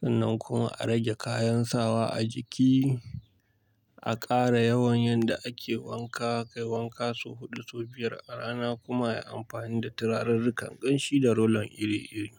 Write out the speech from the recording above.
Sannan kuma a rage kayan sawa a jiki, a ƙara yawan yadda ake wanka, kai wanka sau huɗu ko biyar a rana kuma yi amfani da turarirri kan ƙanshi da rollon iri-iri.